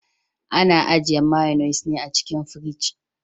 Ana ajiye mayonnes ne a cikin firji.